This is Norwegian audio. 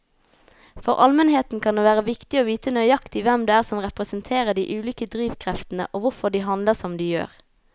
For allmennheten kan det være viktig å vite nøyaktig hvem det er som representerer de ulike drivkreftene og hvorfor de handler som de gjør.